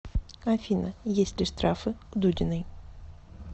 афина есть ли штрафы у дудиной